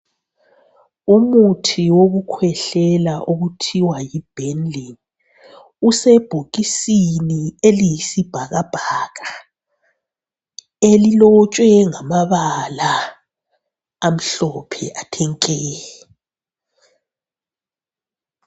Umuthi wokukhwehlela okuthwa yiBenylin, usebhokisini eliyisibhakabhaka elilotshwe ngamabala amhlophe athe nke.